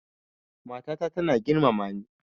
Mata ta tana girmama ni